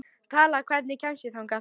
Tala, hvernig kemst ég þangað?